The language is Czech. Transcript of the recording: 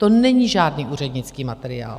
To není žádný úřednický materiál.